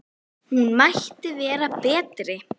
Hún mætti vera betri.